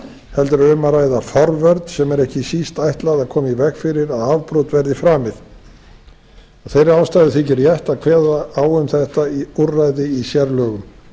heldur er um að ræða forvörn sem er ekki síst ætlað að koma í veg fyrir að afbrot verði framið af þeirri ástæðu þykir rétt að kveða á um þetta úrræði í sérlögum